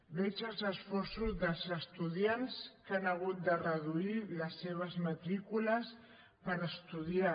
veig els esforços dels estudiants que han ha·gut de reduir les seves matrícules per estudiar